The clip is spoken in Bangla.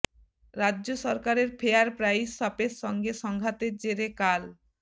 রাজ্য সরকারের ফেয়ার প্রাইস শপের সঙ্গে সংঘাতের জেরে কাল